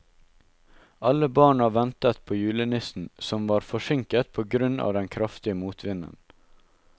Alle barna ventet på julenissen, som var forsinket på grunn av den kraftige motvinden.